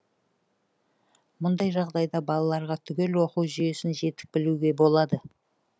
мұндай жағдайда балаларға түгел оқу жүйесін жетік білуге болады